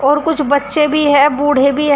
और कुछ बच्चे भी हैं बूढ़े भी हैं।